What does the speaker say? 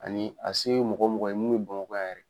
Ani a se ye mɔgɔ o mɔgɔ ye mun be bamakɔ yan yɛrɛ